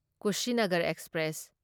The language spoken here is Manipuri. ꯀꯨꯁꯤꯅꯒꯔ ꯑꯦꯛꯁꯄ꯭ꯔꯦꯁ